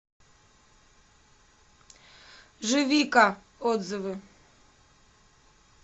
живика отзывы